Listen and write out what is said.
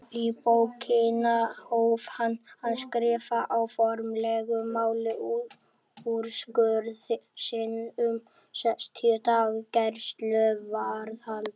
Í bókina hóf hann að skrifa á formlegu máli úrskurð sinn um sextíu daga gæsluvarðhald.